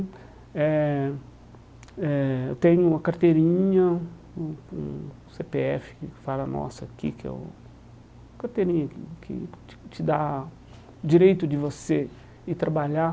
Eh eh eu tenho uma carteirinha, um um cê pê efe que fala a nossa aqui, que é o carteirinha que te te dá o direito de você ir trabalhar.